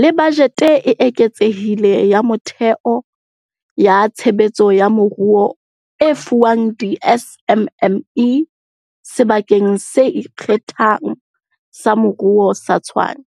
le bajete e eketsehileng ya metheo ya tshebetso ya moruo e fuwang di-SMME Sebakeng se Ikgethang sa Moruo sa Tshwane.